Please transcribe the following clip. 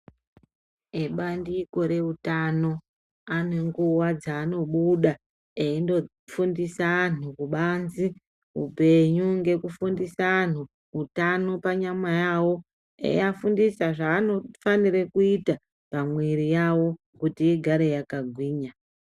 Ebandiko reutano anenguwa dzaanobuda eindofundise antu kubanze upenyu ngekufundise anhu utano panyama yawo eiya fundisa zvaanofanire kuita pamwri yawo kuti igare yakagwinya.